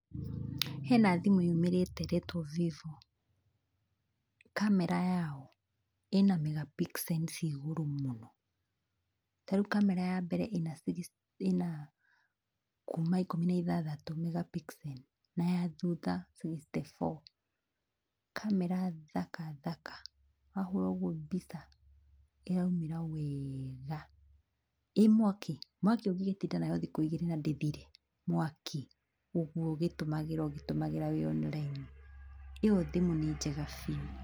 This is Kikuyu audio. Hena thimũ yumĩrĩte ĩretwo Vivo kamera yayo ĩna megapixels cia igũrũ mũno tarĩu kamera yambere ĩna kuma ikũmi na ithathatũ megapixels na ya thutha sixty four kamera thaka thaka wahũra ũguo mbica ĩraumĩra weeega ĩĩ mwaki? Mwaki ũngĩgĩtinda nayo thikũ igĩrĩ na ndĩthire mwaki, ũguo ũgĩtũmĩra ũgĩtũmĩra wĩ online ĩyo thimũ nĩ njega biũ.